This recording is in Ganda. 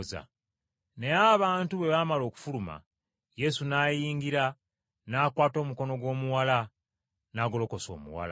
Naye abantu bwe bamala okufuluma, Yesu n’ayingira, n’akwata omukono gw’omuwala, n’agolokosa omuwala.